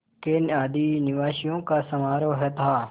के आदिनिवासियों का समारोह था